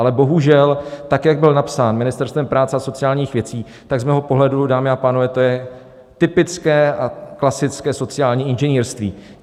Ale bohužel, tak jak byl napsán Ministerstvem práce a sociálních věcí, tak z mého pohledu, dámy a pánové, to je typické a klasické sociální inženýrství.